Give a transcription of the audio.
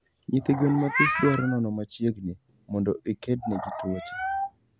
Nyithi gwen mathis dwaro nono machiegni mondo ikedne tuoche